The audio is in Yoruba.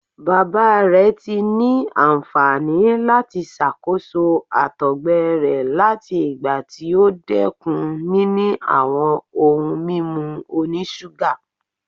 Baba rẹ ti ni anfani lati ṣakoso àtọgbẹ rẹ lati igba ti o dẹkun nini awọn ohun mimu onisuga